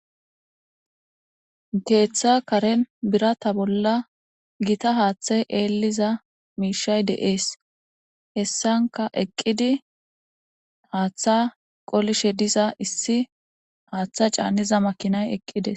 Geeththa kare bira ta bolla gita haaththay eelliza miishay deees hessanka eqqidi haaththa qolishe diza issi haaththa caanniza makinay eqqides.